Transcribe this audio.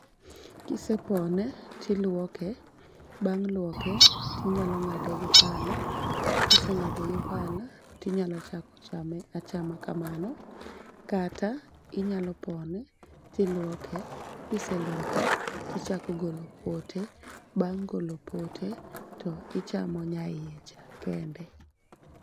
Kise pone tilwoke, bang' lwoke tinyalo ng'ade gi pala. Kiseng'ade gi pala, tinyalo chako chame kamano, kata inyalo pone tilwoke. Kise lwoke tichako golo pote, bang' golo pote to ichamo nya iye cha kende.